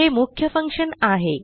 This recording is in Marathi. हे मुख्य फंक्शन आहे